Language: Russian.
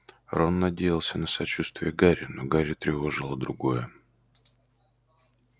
рон надеялся на сочувствие гарри но гарри тревожило другое